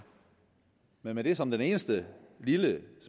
men med det som det eneste lille